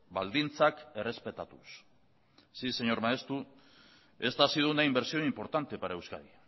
baldintzak errespetatuz sí señor maeztu esta ha sido una inversión importante para euskadi